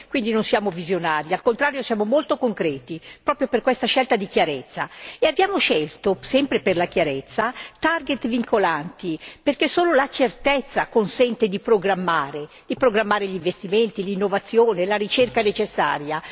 Quindi non siamo visionari, al contrario siamo molto concreti proprio per questa scelta di chiarezza e abbiamo scelto, sempre per la chiarezza, target vincolanti, perché solo la certezza consente di programmare, di programmare gli investimenti, l'innovazione, la ricerca necessaria.